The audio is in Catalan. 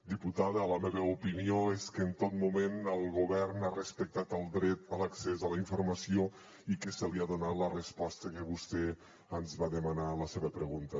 diputada la meva opinió és que en tot moment el govern ha respectat el dret a l’accés a la informació i que se li ha donat la resposta que vostè ens va demanar a la seva pregunta